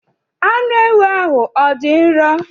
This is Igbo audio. Anụ ewu ahụ ọ dị nro?